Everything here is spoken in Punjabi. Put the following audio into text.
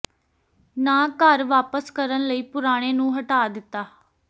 ਨਾ ਘਰ ਵਾਪਸ ਕਰਨ ਲਈ ਪੁਰਾਣੇ ਨੂੰ ਹਟਾ ਦਿੱਤਾ